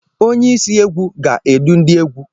Onye isi egwu gá-edu ndị égwu.